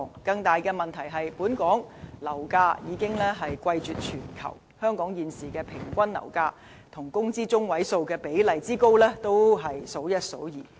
更大的問題是，本港樓價已貴絕全球，現時香港平均樓價與工資中位數的比例之高，亦是數一數二。